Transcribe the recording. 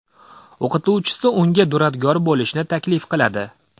O‘qituvchisi unga duradgor bo‘lishni taklif qiladi.